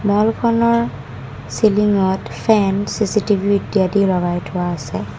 Wall খনৰ ceiling ত fan CCTV ইত্যাদি লগাই থোৱা আছে।